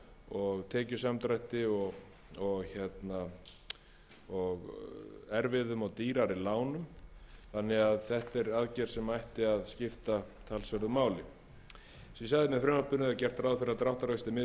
og erfiðum og dýrari lánum og því er þetta aðgerð sem ætti að skipta talsverðu máli með frumvarpinu er gert ráð fyrir að dráttarvextir miði